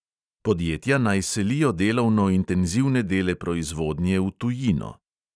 Podjetja naj selijo delovno intenzivne dele proizvodnje v tujino.